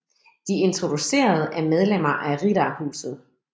De introducerede er medlemmer af Riddarhuset